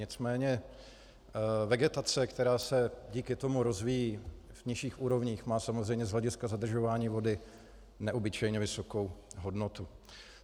Nicméně vegetace, která se díky tomu rozvíjí v nižších úrovních, má samozřejmě z hlediska zadržování vody neobyčejně vysokou hodnotu.